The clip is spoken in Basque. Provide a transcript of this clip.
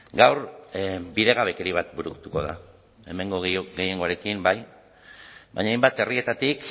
gaur bidegabekeria bat burutuko da hemengo gehiengoarekin bai baina hainbat herrietatik